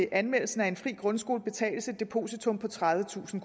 anmeldelsen af en fri grundskole betales et depositum på tredivetusind